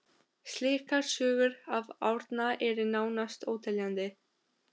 Slíkar sögur af Árna eru nánast óteljandi.